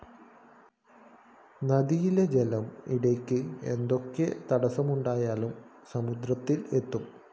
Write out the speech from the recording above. നദിയിലെ ജലം ഇടയ്ക്ക് എന്തൊക്കെ തടസ്സമുണ്ടായാലും സമുദ്രത്തില്‍ എത്തും